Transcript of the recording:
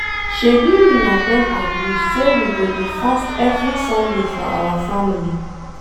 Shebi una don agree say we go dey fast every sunday for our family